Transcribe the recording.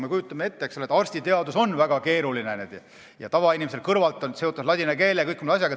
Me kujutame ette, et arstiteadus on väga keeruline, on seotud ladina keele ja kõige muuga.